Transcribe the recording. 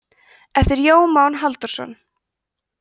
eftir jón má halldórsson